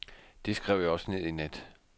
Det skrev jeg også ned i nat.